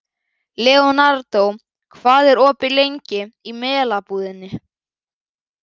Leonardo, hvað er opið lengi í Melabúðinni?